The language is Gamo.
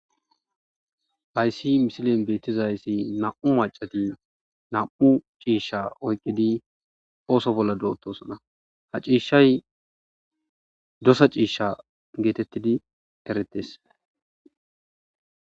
Hayssi misilen beettizayssi nam'u macati nam'u ciishsha oyqqidi ooso bolla doottosona ha ciishshay dosa ciishsha geetettidi eretes.